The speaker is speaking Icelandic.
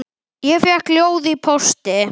Ég fékk ljóð í pósti.